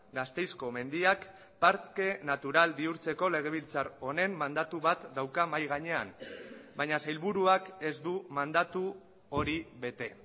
gasteizko mendiak parke natural bihurtzeko legebiltzar honen mandatu bat dauka mahai gainean baina sailburuak ez du mandatu hori bete